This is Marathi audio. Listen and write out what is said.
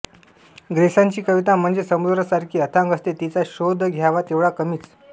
ग्रेसांची कविता म्हणजे समुद्रासारखी अथांग असते तिचा शोध घ्यावा तेव्हढा कमीच